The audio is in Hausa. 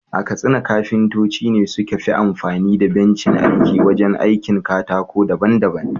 A Katsina kafintoci ne suka fi amfani da bencin aiki wajen aikin katako daban-daban.